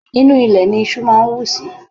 Inú ilẹ̀ ní iṣú máa ń wù sí.